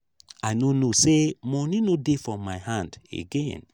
i no know say money no dey for my hand again